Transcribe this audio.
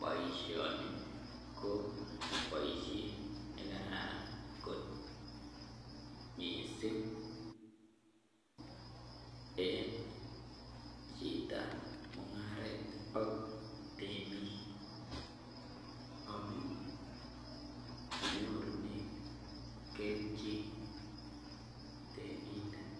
Boisioni ko boisiet nekararan kot missing en chitab mung'aret ak temik amun nyorunen kelchin temindet